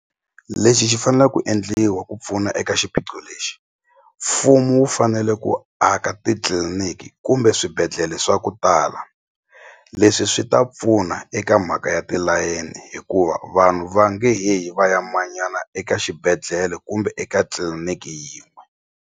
Lexi xi fanela ku endliwa ku pfuna eka xiphiqo lexi mfumo wu fanele ku aka titliliniki kumbe swibedhlele swa ku tala leswi swi ta pfuna eka mhaka ya tilayeni hikuva vanhu va nge he yi va ya manyana eka xibedhlele kumbe eka tliliniki yin'we.